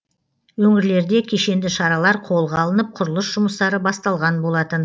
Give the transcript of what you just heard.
өңірлерде кешенді шаралар қолға алынып құрылыс жұмыстары басталған болатын